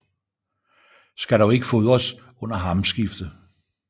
Skal dog ikke fodres under hamskifte